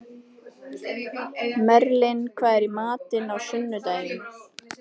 Merlin, hvað er í matinn á sunnudaginn?